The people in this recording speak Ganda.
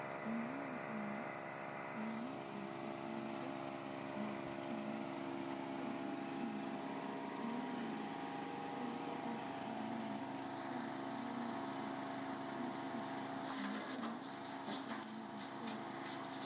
Ennyanja eno eyina obuyengo obutini, ennyanja eno nnene era obudde buno eno erabika bulungi kubanga enjuba evaayo buvi.